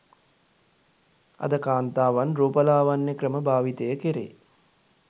අද කාන්තාවන් රූපලාවන්‍ය ක්‍රම භාවිතය කෙරේ